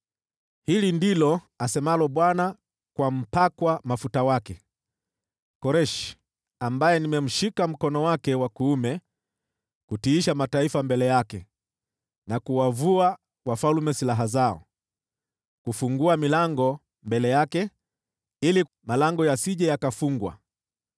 “Hili ndilo asemalo Bwana kwa mpakwa mafuta wake, Koreshi, ambaye nimemshika mkono wake wa kuume kutiisha mataifa mbele yake na kuwavua wafalme silaha zao, kufungua milango mbele yake ili malango yasije yakafungwa: